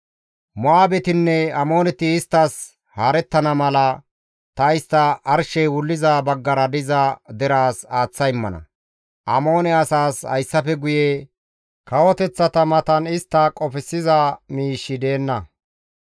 Mo7aabetinne Amooneti isttas haarettana mala ta istta arshey wulliza baggara diza deraas aaththa immana; Amoone asaas hayssafe guye kawoteththata matan istta qofsiza miishshi deenna.